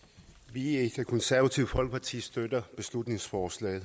vi i det konservative folkeparti støtter beslutningsforslag